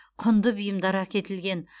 құнды бұйымдар әкетілген